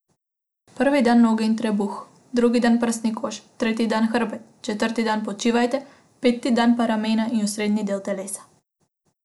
Prvi dan noge in trebuh, drugi dan prsni koš, tretji dan hrbet, četrti dan počivajte, peti dan pa ramena in osrednji del telesa.